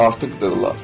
artıqdırlar.